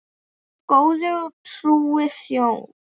Þú góði og trúi þjónn.